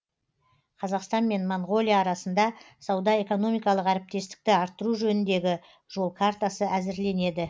қазақстан мен монғолия арасында сауда экономикалық әріптестікті арттыру жөніндегі жол картасы әзірленеді